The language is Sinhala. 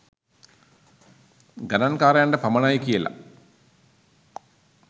ගනංකාරයන්ට පමණයි කියලා